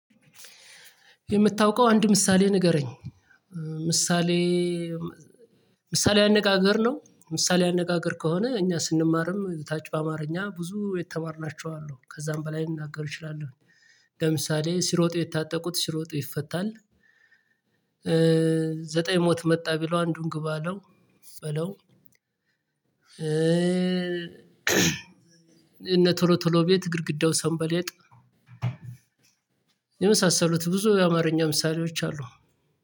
የምታውቀው አንድ ምሳሌ ንገረኝ! ምሳሌያዊ አነጋገር ነው? ምሳሌያዊ አነጋገር ከሆነ እኛ ስንማርም ታች በአማርኛ ብዙ የተማርናቸው አሉ። ከዛም በላይ ልናገር እችላለሁኝ። ለምሳሌ "ሲሮጡ የታጠቁት ሲሮጡ ይፈታል"፣ "ዘጠኝ ሞት መጣ ቢለው አንዱን ግባ አለው በለው" "የእነ ቶሎ ቶሎ ቤት ግድግዳው ሰንበሌጥ" የመሳሰሉት ብዙ የአማርኛ ምሳሌዎች አሉ።